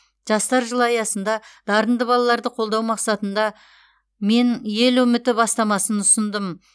жастар жылы аясында дарынды балаларды қолдау мақсатында мен ел үміті бастамасын ұсындым